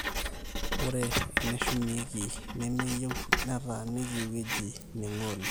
ore eneshumieki nemeyieu netaaniki ewueji ningu oleng